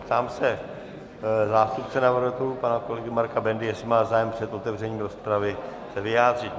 Ptám se zástupce navrhovatelů pana kolegy Marka Bendy, jestli má zájem před otevřením rozpravy se vyjádřit.